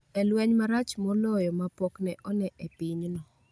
E lweny marach moloyo ma pok ne one e pinyno